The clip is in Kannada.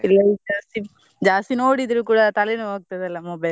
ಜಾಸ್ತಿ ಜಾಸ್ತಿ ನೋಡಿದ್ರು ಕೂಡಾ ತಲೆ ನೋವ್ ಆಗ್ತದ ಅಲ್ಲಾ mobile ಅಲ್ಲಿ.